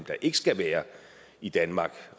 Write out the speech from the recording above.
der ikke skal være i danmark